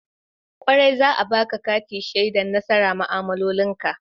Kwarai, za'a baƙa kati shaida nasara ma'amaloli ka.